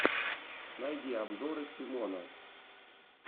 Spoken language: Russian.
найди обзоры тимона